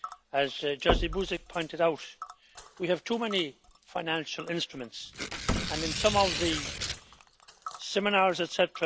As Jerzy Buzek pointed out, we have too many financial instruments and in some of the seminars, etc.,